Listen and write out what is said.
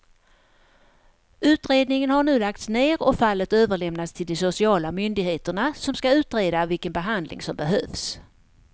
Utredningen har nu lagts ner och fallet överlämnats till de sociala myndigheterna som ska utreda vilken behandling som behövs.